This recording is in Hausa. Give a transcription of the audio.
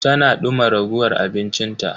Tana duma ragowar abinci ta.